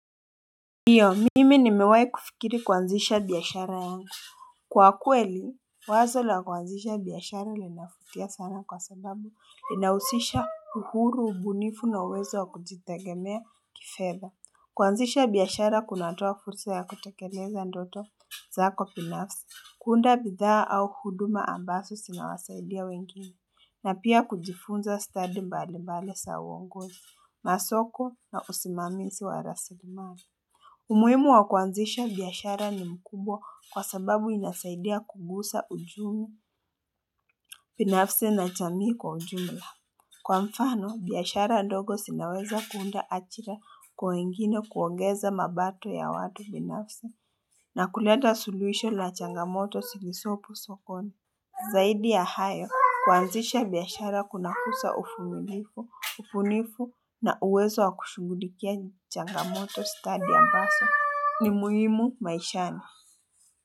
Ndiyo mimi nimewai kufikiri kwanzisha biyashara yangu kwa kweli wazo la kuanzisha biashara linavutia sana kwa sababu linahusisha uhuru, ubunifu na uwezo wa kujitegemea kifedha kuanzisha biashara kunatoa fursa ya kutakeleza ndoto zako binafsi, kuunda bidhaa au huduma ambazo zinawasaidia wengine na pia kujifunza stadi mbalimbali zaa uongozi masoko na usimamizi wa rasilimani umuhimu wa kuanzisha biashara ni mkubwa kwa sababu inasaidia kukuza uchumi binafsi na jamii kwa ujumla. Kwa mfano, biashara ndogo zinaweza kuunda ajira kwa wengine kuongeza mapato ya watu binafsi na kuleta suluhisho la changamoto zilizopo sokoni. Zaidi ya hayo, kuanzisha biashara kunakuza uvumilivu, ubunifu na uwezo wa kushughulikia changamoto stadi ambazo ni muhimu maishani.